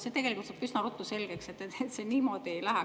See tegelikult saab üsna ruttu selgeks, et see niimoodi ei lähe.